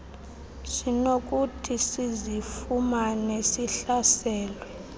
sinokuthi sizifumane sihlaselwe